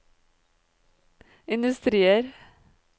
industrier